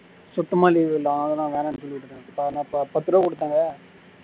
சுத்தமா leave இல்ல அதுதான் வேண்டான்னு சொல்லி விட்டுட்டேன் பத்து ரூபாய் குடுத்தாங்க